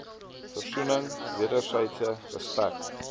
versoening wedersydse respek